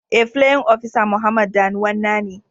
Eh playin opisa Muhammad danuwan na ne.